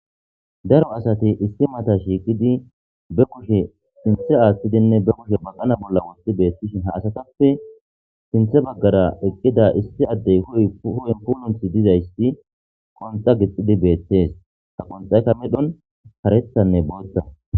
Daro asati issi mata shiiqidi be kushe sinthe aaththidinne be kushe baqana bolla wotti beettishin ha asatappe sinthe baggara eqqida issi addey kuy ho'in pununthi dizaysti qonta gixxidi beettees ha qonxayka medhon karethanne bootta.